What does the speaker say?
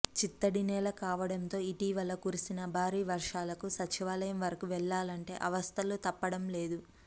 చిత్తడి నేల కావడంతో ఇటీవల కురిసిన భారీ వర్షాలకు సచివాలయం వరకు వెళ్లాలంటే అవస్థలు తప్పటంలేదు